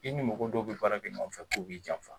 I ni mɔgo dɔw be baara kɛ ɲɔgɔn fɛ k'u b'i janfa